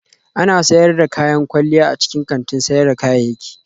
Ana sayar da kayan kwalliya a cikin kantin sayar da kayayyaki